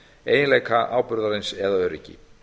eiginleika áburðarins eða öryggi